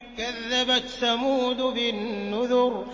كَذَّبَتْ ثَمُودُ بِالنُّذُرِ